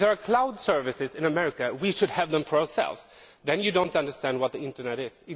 if there are Cloud services in America, we should have them for ourselves then we do not understand what the internet is.